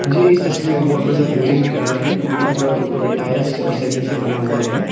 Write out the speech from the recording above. मुझे इस तस्वीर में बहोत बड़ा सा बिल्डिंग दिख रहा है जो कि पूरा का पूरा टाईल्स और सीमेंट से बना हुआ है।